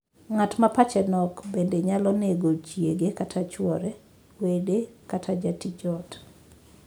Ng'at ma pache nok bende nyalo nego chiege kata chwore, wede, kata jatij ot.